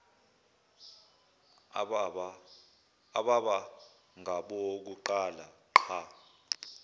ababa ngabokuqala ngqa